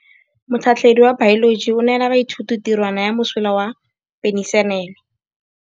Motlhatlhaledi wa baeloji o neela baithuti tirwana ya mosola wa peniselene.